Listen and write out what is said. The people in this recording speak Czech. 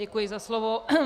Děkuji za slovo.